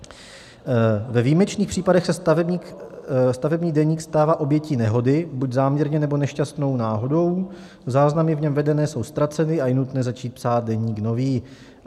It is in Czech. Ve výjimečných případech se stavební deník stává obětí nehody, buď záměrně, nebo nešťastnou náhodou, záznamy v něm vedené jsou ztraceny a je nutné začít psát deník nový.